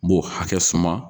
N b'o hakɛ suma.